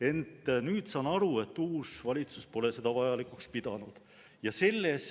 Ent nüüd saan aru, et uus valitsus pole seda vajalikuks pidanud.